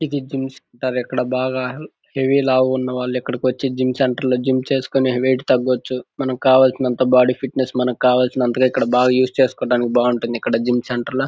ఇది gym centre . ఇక్కడ బాగా హెవీ లావు గ ఉన్నవాళ్లు ఇక్కడికి వచ్చి జిమ్ సెంటర్ లో జిమ్ చేసుకుని వెయిట్ తగ్గొచ్చు. మనకి కావాల్సినంత బాడీ ఫిట్నెస్ మంకు కావాల్సినంతగా ఇక్కడ ఉస్ చేసుకో దానికి బాగుంటుంది. ఇక్కడ జిమ్ సెంటర్ లో--